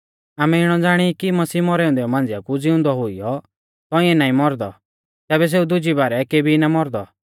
आमै इणौ ज़ाणी ई कि मसीह मौरै औन्दै मांझ़िया कु ज़िउंदौ हुईयौ तौंइऐ नाईं मौरदौ तैबै सेऊ दुज़ी बारै केबी ना मौरदौ